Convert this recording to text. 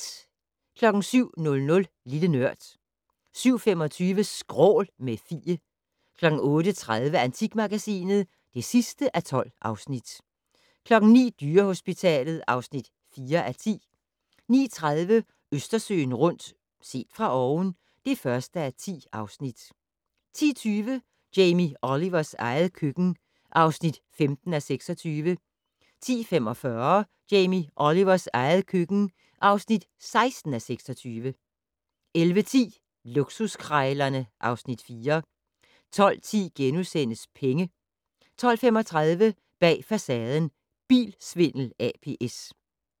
07:00: Lille Nørd 07:25: Skrål - med Fie 08:30: Antikmagasinet (12:12) 09:00: Dyrehospitalet (4:10) 09:30: Østersøen rundt - set fra oven (1:10) 10:20: Jamie Olivers eget køkken (15:26) 10:45: Jamie Olivers eget køkken (16:26) 11:10: Luksuskrejlerne (Afs. 4) 12:10: Penge * 12:35: Bag Facaden: Bilsvindel ApS